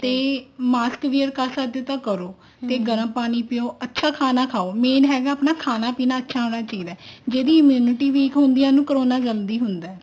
ਤੇ mask wear ਕਰ ਸਕਦੇ ਹੋ ਤਾਂ ਕਰੋ ਤੇ ਗਰਮ ਪਾਣੀ ਪਿਓ ਅੱਛਾ ਖਾਣਾ ਖਾਓ main ਆਪਣਾ ਖਾਣਾ ਪੀਣਾ ਅੱਛਾ ਹੋਣਾ ਚਾਹੀਦਾ ਜਿਹੜੀ immunity weak ਹੁੰਦੀ ਆ corona ਜਲਦੀ ਹੁੰਦਾ